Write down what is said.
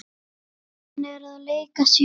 Hann er að leika sér.